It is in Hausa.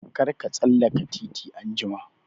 Kar ka tsallaka titi anjima!